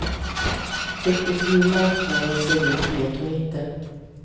Riktigt hur marknaden ser ut vet hon inte.